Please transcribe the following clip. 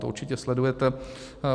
To určitě sledujete.